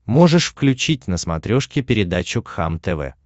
можешь включить на смотрешке передачу кхлм тв